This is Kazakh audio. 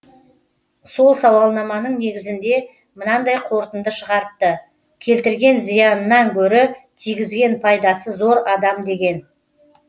сол сауалнаманың негізінде мынандай қорытынды шығарыпты келтірген зиянынан гөрі тигізген пайдасы зор адам деген